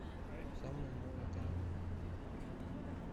самая новая комедия